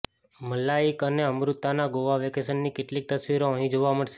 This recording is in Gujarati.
મલાઇક અને અમૃતાના ગોવા વેકેશનની કેટલીક તસવીરો અહીં જોવા મળશે